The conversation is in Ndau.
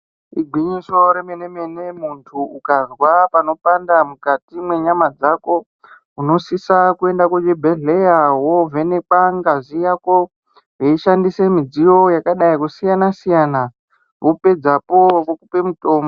Igwinyiso remene mene muntu ukazwa panopanda mukati mwenyama dzako unosisa kuenda kuzvibhedhlera wovhenekwa ngazi yako veishandisa midziyo yakadai kusiyana siyana vopedzapo vokupe mutombo.